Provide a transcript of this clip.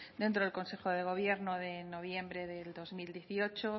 dentro del consejo de gobierno de noviembre de dos mil dieciocho